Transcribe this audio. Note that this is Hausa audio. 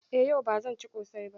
Eh, yau ba zan ci ƙosai ba